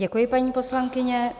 Děkuji, paní poslankyně.